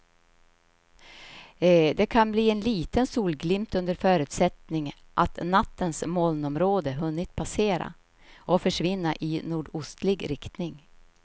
Det kan bli en liten solglimt under förutsättning att nattens molnområde hunnit passera och försvinna i nordostlig riktning.